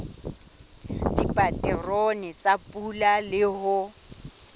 dipaterone tsa pula le ho